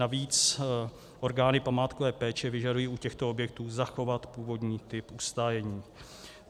Navíc orgány památkové péče vyžadují u těchto objektů zachovat původní typ ustájení.